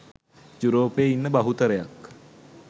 යුරෝපයේ ඉන්න බහුතරයක්